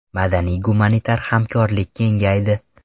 Madaniy-gumanitar hamkorlik kengaydi.